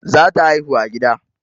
Za ta haihu a gida